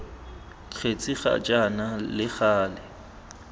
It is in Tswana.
kgetse ga jaana le gale